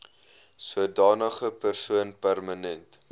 sodanige persoon permanent